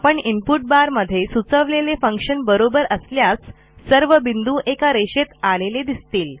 आपण इनपुट बारमध्ये सुचवलेले फंक्शन बरोबर असल्यास सर्व बिंदू एका रेषेत आलेले दिसतील